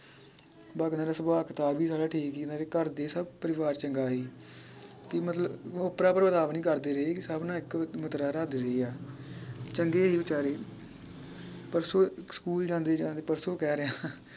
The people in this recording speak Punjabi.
ਬਾਕੀ ਇਹਨਾਂ ਦਾ ਸੁਭਾਅ ਕਿਤਾਬ ਵੀ ਸਾਰਾ ਠੀਕ ਸੀ ਇਹਨਾਂ ਦੇ ਘਰਦੇ ਸਬ ਪਰਿਵਾਰ ਚੰਗਾ ਹੀ ਕਿ ਮਤਲਬ ਓਪਰਾ ਨੀ ਕਰਦੇ ਸੀ ਸਬ ਨਾ ਇਕੋ ਇਕ ਰੱਖਦੇ ਆ ਚੰਗੇ ਹੀ ਵੇਚਾਰੇ ਪਰਸੋ ਸਕੂਲ ਜਾਂਦੇ ਜਾਂਦੇ ਪਰਸੋ ਕਹਿ ਰਿਹਾਂ